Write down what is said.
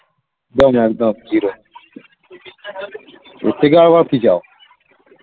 একদম একদম zero এর থেকে বাবার কি চাও